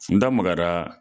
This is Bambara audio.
N da magara